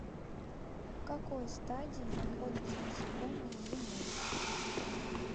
в какой стадии находятся насекомые зимой